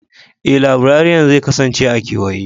Ee, laibrariyan zai kasance a kewaye.